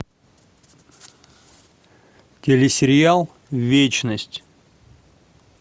телесериал вечность